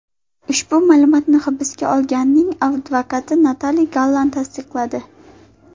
Ushbu ma’lumotni hibsga olinganning advokati Natali Gallan tasdiqladi.